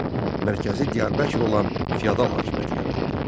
Mərkəzi Diyarbəkir olan feodal hakimiyyəti yaratdı.